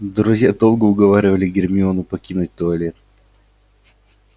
друзья долго уговаривали гермиону покинуть туалет